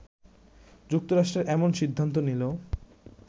যুক্তরাষ্ট্র এমন সিদ্ধান্ত নিলো